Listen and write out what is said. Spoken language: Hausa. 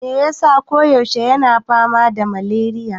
Me yasa ko yaushe yana fama da maleriya?